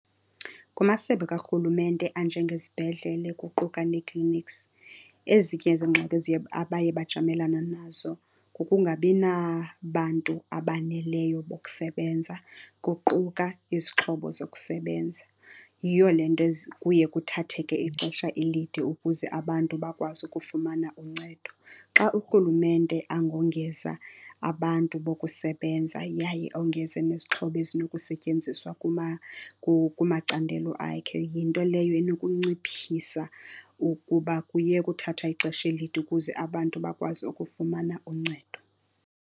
Kumasebe karhulumente anjengezibhedlele kuquka nee-clinics, ezinye zeengxaki eziye abaye bajamelana nazo kukungabi nabantu abaneleyo bokusebenza, kuquka izixhobo zokusebenza. Yiyo le nto kuye kuthatheke ixesha elide ukuze abantu bakwazi ukufumana uncedo. Xa urhulumente angongeza abantu bokusebenza yaye ongeze nezixhobo ezinokusetyenziswa kumacandelo akhe, yinto leyo enokunciphisa ukuba kuyekwe uthathwa ixesha elide ukuze abantu bakwazi ukufumana uncedo.